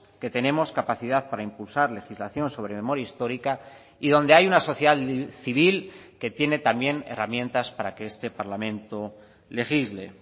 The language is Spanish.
que tenemos capacidad para impulsar legislación sobre memoria histórica y donde hay una sociedad civil que tiene también herramientas para que este parlamento legisle